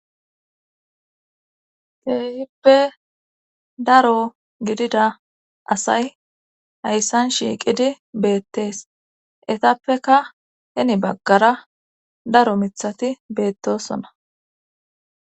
Teehippe daro gidida asay hayssan shiiqidi beettees etappeka heni baggara daro mithati beettosona.